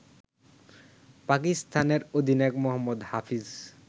পাকিস্তানের অধিনায়ক মোহাম্মদ হাফিজ